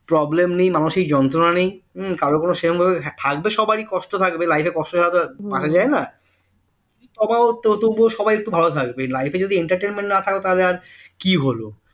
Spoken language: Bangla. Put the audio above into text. problem নেই মানসিক যন্ত্রণা নেই হু কারো কোন সেরকমভাবে থাকবে সবারই কষ্ট থাকবে life এ কষ্ট ছাড়া তো আর বাঁচা যায় না তবে তবুও একটু সবাই ভালো থাকবে life এ যদি entertainment না থাকে তাহলে আর কি হল